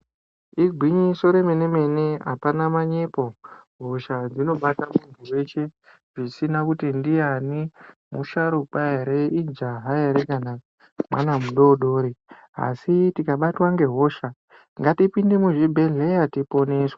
Igwinyiso remene-mene apana manyepo, hosha dzinobata muntu weshe zvisina kuti ndiyani, musharukwa ere, ijaha ere kana kuti mwana mudodori, asi tikabatwa ngehosha ngatipinde muzvibhedhlera tiponeswe.